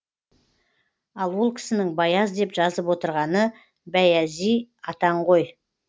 ал ол кісінің баяз деп жазып отырғаны бәйәзи атаң ғой